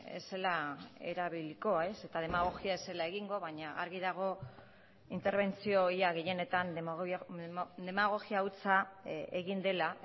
ez zela erabiliko eta demagogia ez zela egingo baina argi dago interbentzio ia gehienetan demagogia hutsa egin dela